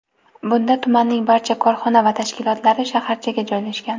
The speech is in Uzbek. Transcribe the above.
bunda tumanning barcha korxona va tashkilotlari shaharchaga joylashgan.